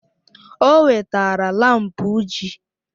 O wetara laampụ uji